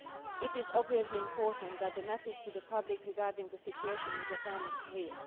It is obviously important that the message to the public regarding the situation in Japan is clear.